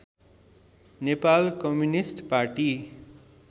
Nepal communist Pati